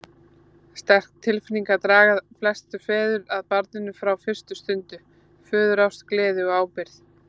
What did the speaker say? Sterkar tilfinningar draga flesta feður að barninu frá fyrstu stundu, föðurást, gleði og ábyrgð.